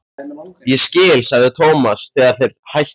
Ég skil sagði Thomas þegar þeir hættu að hlæja.